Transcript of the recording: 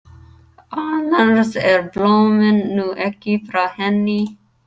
Annars eru blómin nú ekki frá henni.